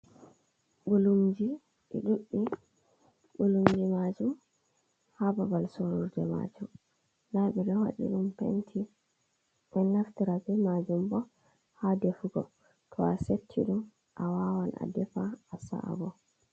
Ɓulumji ɗi ɗuɗɗi, ɓulumji maajum haa babal sooruje maajum. Ndaa ɓe ɗo waɗi ɗum "penti". ɓe ɗon naftira bee maajum bo haa defugo, to a setti ɗum a waawan a defa a sa’a bo.